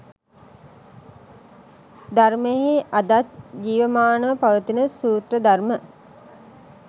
ධර්මයෙහි අදත් ජීවමානව පවතින සූත්‍ර ධර්ම